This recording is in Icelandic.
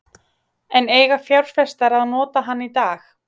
En eiga fjárfestar að nota hann í dag?